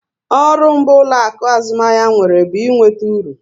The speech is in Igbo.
Ọrụ mbụ ụlọaku azụmahịa nwere bụ ị nweta uru